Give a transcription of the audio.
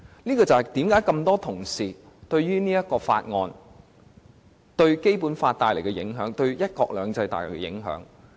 這就是多位同事擔心《條例草案》對《基本法》和"一國兩制"造成影響的原因。